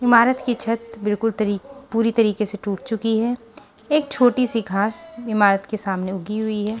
इमारत की छत बिल्कुल तरी पूरी तरीके से टूट चुकी है एक छोटी सी घास इमारत के सामने उगी हुई है।